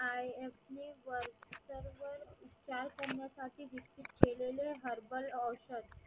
संमताची विस्तृत केलेले herbal औषध